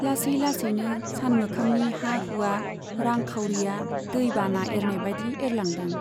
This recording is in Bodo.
लासै लासैनो सानमोखांनि हा हुवा , रां खावरीया दै बाना एरनायबादि एरलांदों।